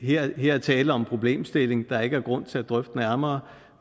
her er tale om en problemstilling der ikke er grund til at drøfte nærmere